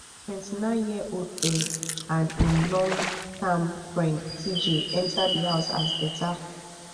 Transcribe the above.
twenty-nineyearold ben and im long term friend tjay enta di house as beta